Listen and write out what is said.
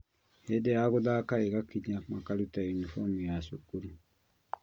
Hindi ya guthaka igakinya na makaruta unibomu ya cukuru